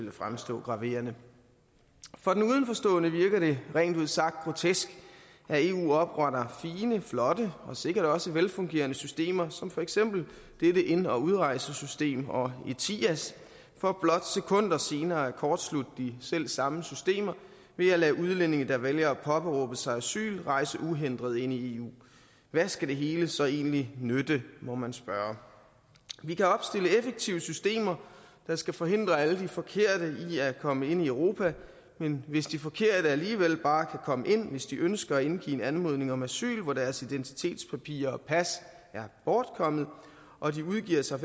ville fremstå graverende for den udenforstående virker det rent ud sagt grotesk at eu opretter fine flotte og sikkert også velfungerende systemer som for eksempel dette ind og udrejsesystem og etias for blot sekunder senere at kortslutte de selv samme systemer ved at lade udlændinge der vælger at påberåbe sig asyl rejse uhindret ind i eu hvad skal det hele så egentlig nytte må man spørge vi kan opstille effektive systemer der skal forhindre alle de forkerte i at komme ind i europa men hvis de forkerte alligevel bare kan komme ind hvis de ønsker at indgive en anmodning om asyl hvor deres identitetspapirer og pas er bortkommet og de udgiver sig